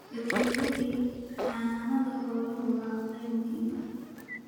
Gabagabadii, xanaanada xoolaha waa qayb muhiim ah.